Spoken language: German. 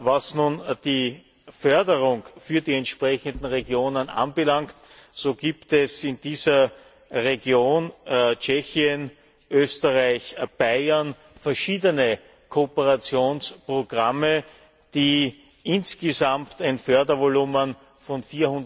Was nun die Förderung für die entsprechenden Regionen anbelangt, so gibt es in dieser Region Tschechien, Österreich, Bayern verschiedene Kooperationsprogramme, die insgesamt ein Fördervolumen von